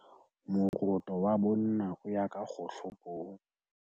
moroto wa bonna o ya ka kgohlopong